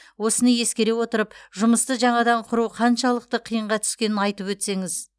осыны ескере отырып жұмысты жаңадан құру қаншалықты қиынға түскенін айтып өтсеңіз